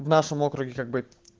в нашем округе как бы